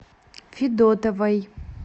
федотовой